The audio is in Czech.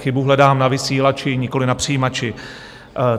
Chybu hledám na vysílači, nikoli na přijímači.